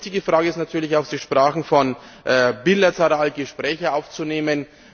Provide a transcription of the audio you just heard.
Aber die wichtige Frage ist natürlich auch Sie sprachen davon, bilaterale Gespräche aufzunehmen.